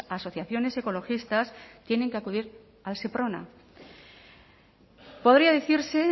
asociaciones ecologistas tienen que acudir al seprona podría decirse